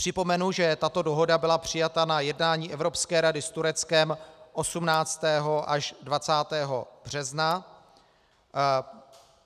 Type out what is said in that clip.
Připomenu, že tato dohoda byla přijata na jednání Evropské rady s Tureckem 18. až 20. března.